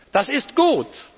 Das ist gut.